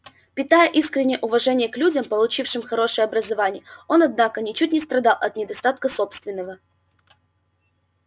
питая искреннее уважение к людям получившим хорошее образование он однако ничуть не страдал от недостатка собственного